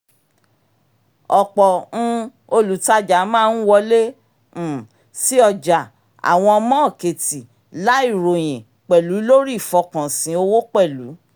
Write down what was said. ọ̀pọ̀ um olùtajà máa ń wọlé um sí ọjà àwọn mọ́ọ̀kètì láì ròyìn pẹ̀lú lórí ìfọkànsìn owó pẹ̀lú